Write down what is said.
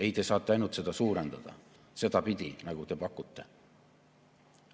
Ei, te saate ainult seda suurendada, sedapidi, nagu te pakute.